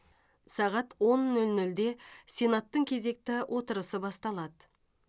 сағат он нөл нөлде сенаттың кезекті отырысы басталады